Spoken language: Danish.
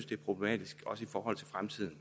det er problematisk i forhold til fremtiden